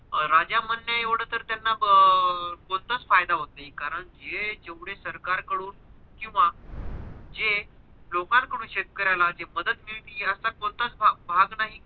राजा म्हणणे एवढं तर त्यांना अं कोणताच फायदा होत नाही कारण हे जेवढे सरकार कडून किव्हा जे लोकांनकडून शेतकऱ्याला जे मदत मिळती याचा कोणताच भाग नाही.